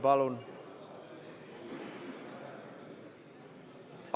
Palun!